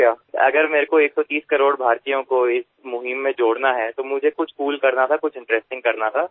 যদি আমার এই অভিযানে 130 কোটি ভারতীয়র যোগদান চাই তাহলে আমাকে কিছু কুল কিছু আকর্ষণীয় জিনিস করতেই হবে